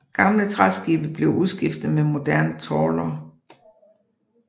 Gamle træskibe blev udskiftet med moderne trawlere